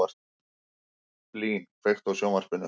Blín, kveiktu á sjónvarpinu.